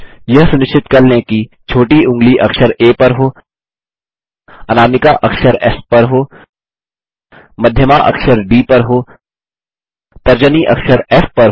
यह सुनिश्चित कर लें कि छोटी ऊँगली अक्षर आ पर हो अनामिका अक्षर एस पर हो मध्यमा अक्षर डी पर हो तर्जनी अखर फ़ पर हो